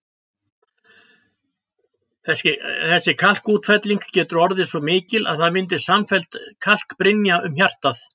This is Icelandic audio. Þessi kalkútfelling getur orðið svo mikil að það myndist samfelld kalkbrynja um hjartað.